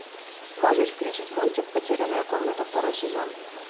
можешь включить мультик потерянная комната второй сезон